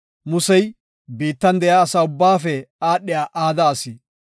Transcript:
Musey biittan de7iya asa ubbaafe aadhiya aada asi.